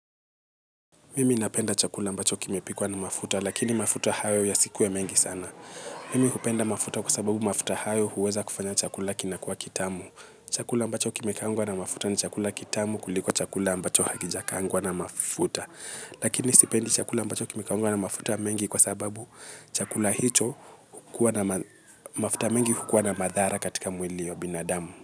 Mimiinapenda chakula ambacho kimepikwa na mafuta, lakini mafuta hayo yasikuwe mengi sana. Mimi hupenda mafuta kwa sababu mafuta hayo huweza kufanya chakula kinakuwa kitamu. Chakula ambacho kimekaangwa na mafuta ni chakula kitamu kuliko chakula ambacho hakijakaangwa na mafuta. Lakini sipendi chakula ambacho kimekangwa na mafuta mengi kwa sababu chakula hicho, hukuwa na mafuta mengi hukuwa na madhara katika mwili wa binadamu.